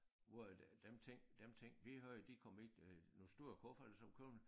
Hvor at øh dem ting dem ting vi havde de kom i øh nogle store kufferter som kun